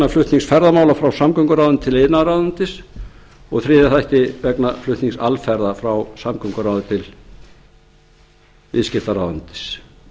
flutnings ferðamála frá samgönguráðuneyti til iðnaðarráðuneytisins og í þriðja þætti vegna flutnings alferða frá samgönguráðuneyti til viðskiptaráðuneytis